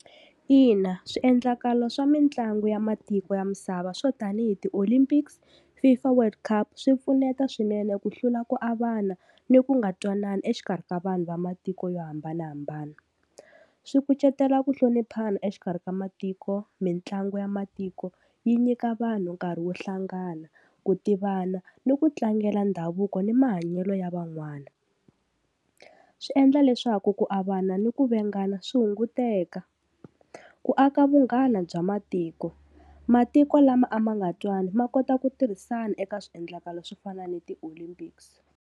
Ina swiendlakalo swa mitlangu ya matiko ya misava swo tanihi ti-Olympics, FIFA World Cup swi pfuneta swinene ku hlula ku avana ni ku nga twanani exikarhi ka vanhu va matiko yo hambanahambana. Swi kucetela ku hloniphana exikarhi ka matiko mitlangu ya matiko yi nyika vanhu nkarhi wo hlangana ku tivana ni ku tlangela ndhavuko ni mahanyelo ya van'wana. Swi endla leswaku ku avana ni ku vengana swi hunguteka. Ku aka vunghana bya matiko, matiko lama a ma nga twani ma kota ku tirhisana eka swiendlakalo swo fana ni ti-Olympics.